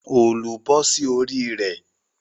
òòlù bọ́ sí orí rẹ̀